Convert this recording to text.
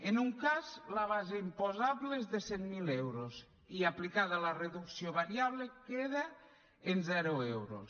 en un cas la base imposable és de cent miler euros i aplicada la reducció variable queda en zero euros